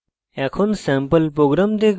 এখন sample program দেখব